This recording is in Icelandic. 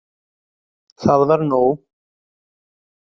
Það var nóg.